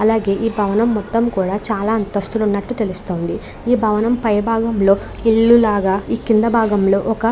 అలాగే ఈ భవన్ మొత్తం కూడా చాలా అంతస్తులు ఉన్నట్టు తెలుస్తుంది. ఈ భవనం పై భాగంలో ఒక ఇల్లు లాగా ఈ భవనం కింద భాగంలో ఒక--